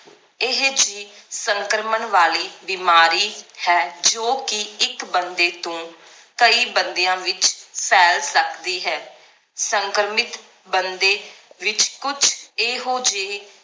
ਇਹ ਜੀ ਸੰਕ੍ਰਮਣ ਵਾਲੀ ਬਿਮਾਰੀ ਹੈ ਜੋ ਕਿ ਇੱਕ ਬੰਦੇ ਤੋਂ ਕਈ ਬੰਦਿਆਂ ਵਿਚ ਫੈਲ ਸਕਦੀ ਹੈ ਸੰਕ੍ਰਮਿਤ ਬੰਦੇ ਵਿਚ ਕੁਛ ਇਹੋ ਜਿਹੇ